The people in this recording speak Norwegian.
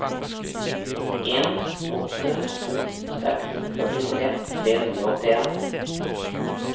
en åtte to seks førtitre tre hundre og åttien